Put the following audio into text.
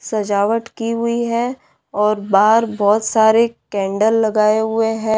सजावट की हुई है और बाहर बहुत सारे कैंडल लगाए हुए है।